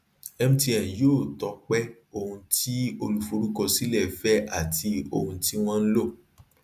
mtn yóò tọpẹ ohun tí olùforúkọsílẹ fẹ àti ohun tí wọn lò